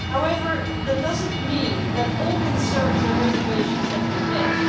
However, that does not mean that all concerns and reservations have been met.